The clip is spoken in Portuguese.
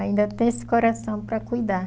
Ainda tem esse coração para cuidar.